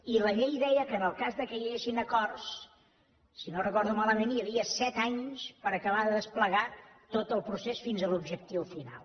i la llei deia que en el cas que hi haguessin acords si no ho recordo malament hi havia set anys per acabar de desplegar tot el procés fins a l’objectiu final